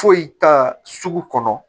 Foyi t'a sugu kɔnɔ